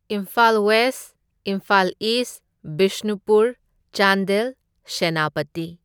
Imphal west, Imphal east, Bishnupur, Chandel, Senapati.